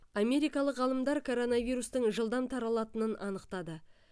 америкалық ғалымдар коронавирустың жылдам таралатынын анықтады